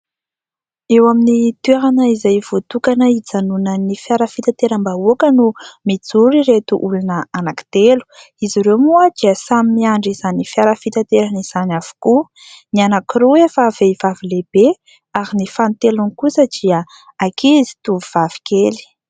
Eo amin'ny toerana izay voatokana hijanonan'ny fiara fitateram-bahoaka no mijoro ireto olona anankitelo. Izy ireo moa dia samy miandry izany fiara fitaterana izany avokoa. Ny anankiroa efa vehivavy lehibe ; ary ny fahatelony kosa dia ankizy tovovavy kely.